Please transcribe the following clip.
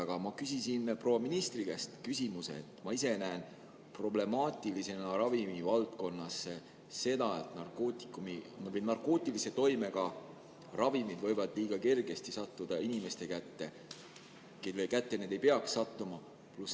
Aga ma küsisin proua ministri käest küsimuse selle kohta, et ma ise näen ravimivaldkonnas problemaatilisena seda, et narkootikumid või narkootilise toimega ravimid võivad liiga kergesti sattuda inimeste kätte, kelle kätte need ei peaks sattuma.